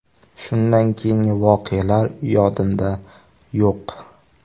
Shundan keyingi voqealar yodimda yo‘q.